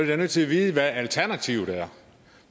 da nødt til at vide hvad alternativet er